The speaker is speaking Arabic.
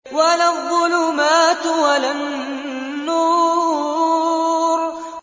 وَلَا الظُّلُمَاتُ وَلَا النُّورُ